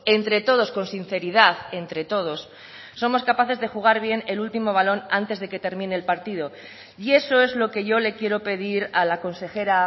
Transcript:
entre todos con sinceridad entre todos somos capaces de jugar bien el último balón antes de que termine el partido y eso es lo que yo le quiero pedir a la consejera